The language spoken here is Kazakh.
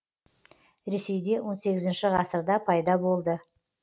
ресейде он сегізінші пайда болды